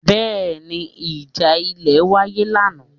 Bẹ́ẹ̀ni ìjà ilẹ̀ wáyé lánàá?